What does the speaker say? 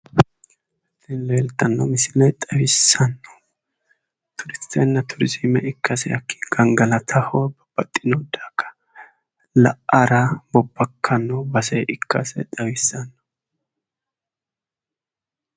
tini leeltanno misile xawissannohu turistenna turizime ikkasi gangalataho baxxino daga la'ara bobbakkanno base ikkasi xawissanno.